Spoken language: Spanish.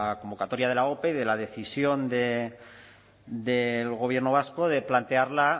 convocatoria de la ope y de la decisión del gobierno vasco de plantearla